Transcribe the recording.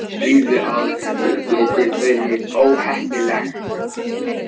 Stríð við Alþingi gæti verið óheppilegt